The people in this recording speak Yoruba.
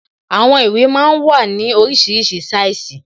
Àwọn ìwé máa ń wà ní oríṣiríṣi sáìsì